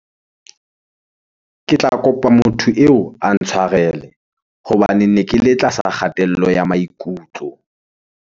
Ke tla kopa motho eo a ntshwarele hobane ne ke le tlasa kgatello ya maikutlo.